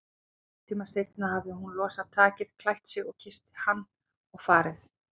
Hálftíma seinna hafði hún losað takið, klætt sig, kysst hann og farið.